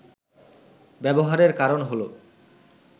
ব্যবহারের কারণ হল